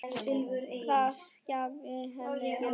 Það gæfi henni aukið gildi.